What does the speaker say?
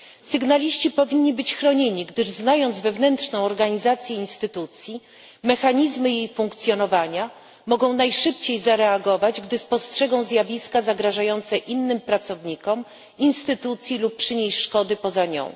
Sygnaliści powinni być chronieni, gdyż znając wewnętrzną organizację instytucji i mechanizmy jej funkcjonowania mogą najszybciej zareagować, gdy spostrzegą zjawiska zagrażające innym pracownikom, instytucji lub przynieść szkody poza nią.